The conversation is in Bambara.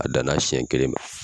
A dan na siɲɛ kelen ma.